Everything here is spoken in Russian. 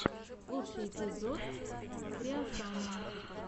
лучший эпизод креосана